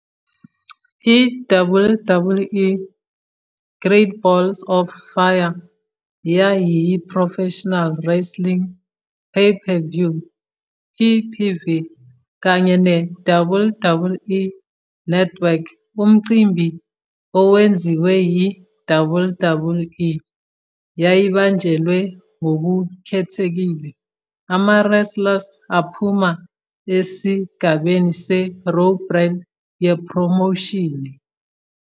I-WWE Great Balls of Fire yayiyi- professional wrestling pay-per-view, PPV, kanye ne- WWE Network umcimbi owenziwe yi- WWE. Yayibanjelwe ngokukhethekile ama-wrestlers aphuma esigabeni se- Raw brand yephromoshini.